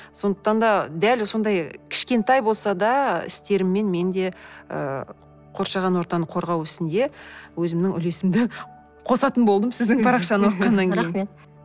сондықтан да дәл сондай кішкентай болса да істеріммен мен де ыыы қоршаған ортаны қорғау ісінде өзімнің үлесімді қосатын болдым сіздің парақшаны оқығаннан кейін рахмет